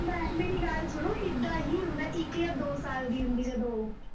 ਭੈਣ ਮੇਰੀ ਗੱਲ ਸੁਣੋ, ਏਦਾਂ ਹੀ ਹੁੰਦਾ, ਇੱਕ ਜਾਂ ਦੋ ਸਾਲ ਦੀ ਹੁੰਦੀ ਜਦੋਂ